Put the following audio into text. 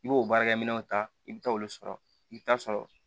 I b'o baarakɛminɛnw ta i bɛ taa olu sɔrɔ i bɛ taa sɔrɔ